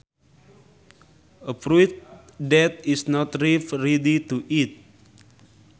A fruit that is not ripe ready to eat